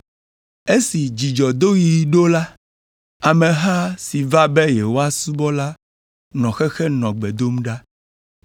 Esi dzudzɔdoɣi ɖo la, ameha si va be yewoasubɔ la nɔ xexe nɔ gbe dom ɖa.